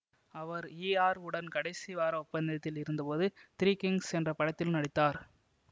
அவர் இஆர் உடன் கடைசி வார ஒப்பந்தத்தில் இருந்தபோது திரீ கிங்ஸ் என்ற படத்திலும் நடித்தார்